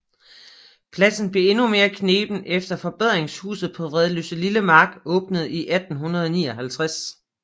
Pladsen blev endnu mere kneben efter Forbedringshuset på Vridsløselille Mark åbnede i 1859